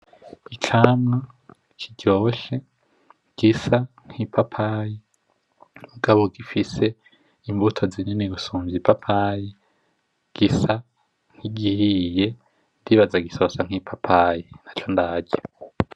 Icamwa kiryoshe gisa nk'ipapayi mugabo gifise imbuto zinini gusumvya ipapayi. Gisa nkigihiye, ndibaza gisoza nk'ipapayi. Ntaco ndarya.